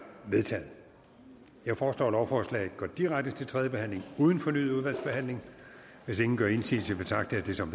vedtaget jeg foreslår at lovforslaget går direkte til tredje behandling uden fornyet udvalgsbehandling hvis ingen gør indsigelse betragter jeg det som